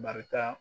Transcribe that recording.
Barika